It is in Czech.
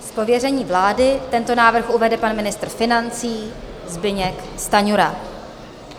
Z pověření vlády tento návrh uvede pan ministr financí Zbyněk Stanjura.